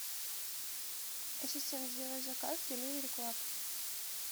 ассистент сделай заказ деливери клаб